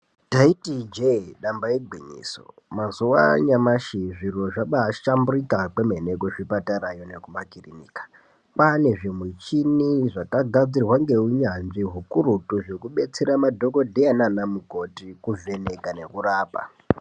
Taiti ijee damba igwinyiso, mazuva anyamashi, zviro zvabaahlamburika kwemene kuzvipatarayo nekumakirinika. Kwaane zvimuchini zvakagadzirwe ngeunyanzvi hukurutu, zvekubetsra madhogodheya nanamukoti, kuvheneka nekurapa.